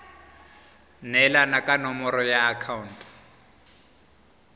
neelana ka nomoro ya akhaonto